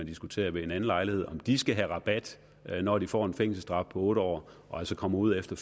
diskutere ved en anden lejlighed om de skal have rabat når de får en fængselsstraf på otte år og altså kommer ud efter